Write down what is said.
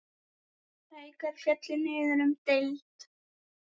Haukar féllu niður um deild.